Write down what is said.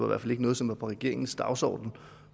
hvert fald ikke noget som var på regeringens dagsorden